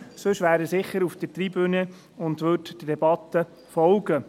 Sonst wäre er sicher auf der Tribüne und würde der Debatte folgen.